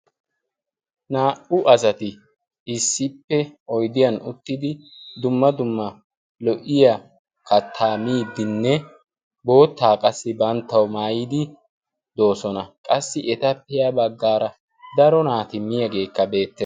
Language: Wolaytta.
naa"u asati issippe oidiyan uttidi dumma dumma lo"iya kattaa midinne boottaa qassi banttawu maayidi doosona. qassi eta piyaa baggaara daro naati miyaageekka beette.